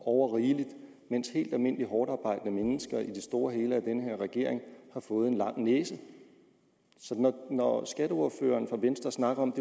overrigeligt mens helt almindelige hårdtarbejdende mennesker i det store og hele af den her regering har fået en lang næse så når skatteordføreren fra venstre snakker om